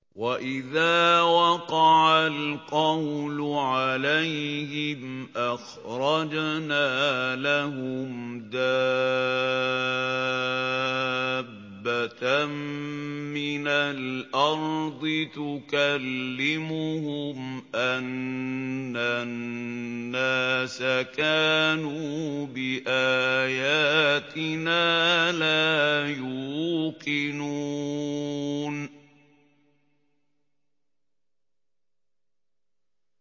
۞ وَإِذَا وَقَعَ الْقَوْلُ عَلَيْهِمْ أَخْرَجْنَا لَهُمْ دَابَّةً مِّنَ الْأَرْضِ تُكَلِّمُهُمْ أَنَّ النَّاسَ كَانُوا بِآيَاتِنَا لَا يُوقِنُونَ